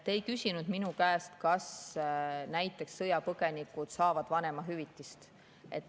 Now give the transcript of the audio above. Te ei küsinud minu käest, kas näiteks sõjapõgenikud saavad vanemahüvitist.